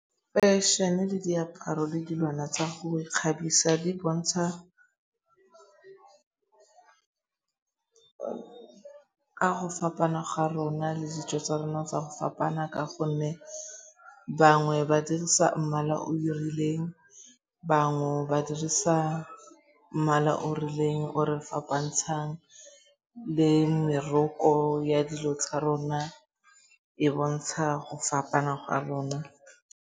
Fešhene le diaparo le dilwana tsa go ikgabisa di bontsha ka go fapana ga rona le dijo tsa rona tsa go fapana ka gonne bangwe ba dirisa mmala o rileng, bangwe ba dirisa mmala o rileng o re fapantshang le meroko ya dilo tsa rona e bontsha go fapana gwa rona.